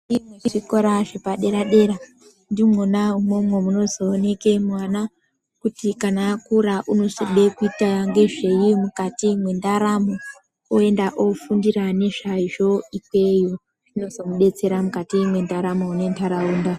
Muzvikora zvepadera dera ndimwona umwomwo munozooneke mwana kuti kana akura unozoda kuita ngezvei mukati mwendaramo yakwe oenda ofundira nezvazvo ikweyo zvinozomudetsera mukagi mwendaramo nentaraunda.